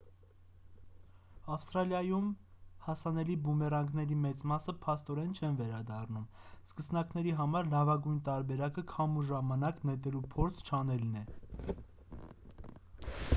ավստրալիայում հասանելի բումերանգների մեծ մասը փաստորեն չեն վերադառնում սկսնակների համար լավագույն տարբերակը քամու ժամանակ նետելու փորձ չանելն է